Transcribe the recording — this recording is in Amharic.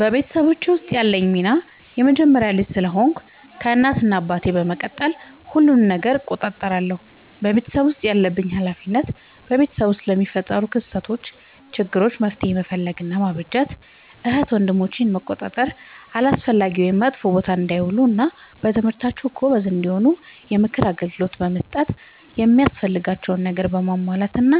በቤተሰቦቼ ውስጥ ያለኝ ሚና የመጀመሪያ ልጅ ስለሆንኩ ከእናት እና አባቴ በመቀጠል ሁሉንም ነገር እቆጣጠራለሁ። በቤተሰቤ ውስጥ ያለብኝ ኃላፊነት በቤተሰብ ውስጥ ለሚፈጠሩ ክስተቶች ÷ችግሮች መፍትሄ መፈለግ እና ማበጀት ÷ እህት ወንድሞቼን መቆጣጠር አላስፈላጊ ወይም መጥፎ ቦታ እንዳይውሉ እና በትምህርታቸው ጎበዝ እንዲሆኑ የምክር አገልግሎት በመስጠት የሚያስፈልጋቸውን ነገር በማሟላት እና